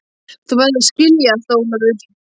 Þú verður að skilja allt, Ólafur.